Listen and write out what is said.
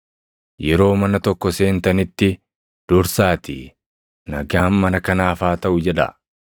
“Yeroo mana tokko seentanitti dursaatii, ‘Nagaan mana kanaaf haa taʼu’ jedhaa.